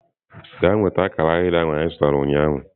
Gaa nweta akara ahịrị ahụ anyị zụtara ụnyaahụ!.